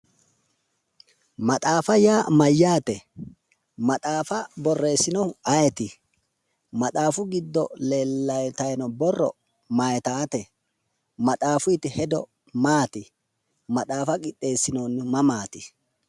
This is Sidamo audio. Maxaafa yaa mayyate? maxaafa borreesinohu ayeeti? maxaafu giddo leeltayino borro mayitawote maxaafuyiti hedo maati? maxaafa qixxeesinonnihu mamaati?